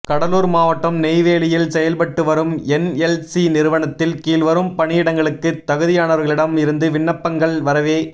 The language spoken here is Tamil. கடலூர் மாவட்டம் நெய்வேலியில் செயல்பட்டு வரும் என்எல்சி நிறுவனத்தில் கீழ்வரும் பணியிடங்களுக்கு தகுதியானவர்களிடம் இருந்து விண்ணப்பங்கள் வரவே